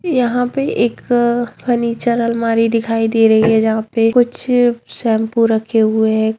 यहाँ पे एक फर्नीचर अलमारी दिखाई दे रही है जहां पे कुछ शैम्पू रखे हुए है।